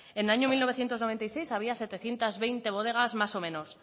en el año mil novecientos noventa y seis había setecientos veinte bodegas más o menos